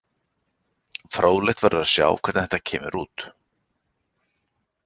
Fróðlegt verður að sjá hvernig þetta kemur út.